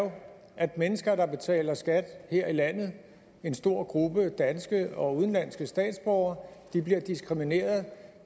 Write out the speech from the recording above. at mennesker der betaler skat her i landet en stor gruppe af danske og udenlandske statsborgere bliver diskrimineret